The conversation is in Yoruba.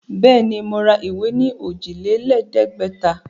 Bẹ́ẹ̀ ni, mo ra ìwé ní òjìlélẹ̀ẹ́dẹ̀gbẹ̀ta.